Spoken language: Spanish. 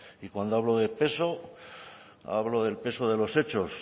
y cuando hablo de peso hablo del peso de los hechos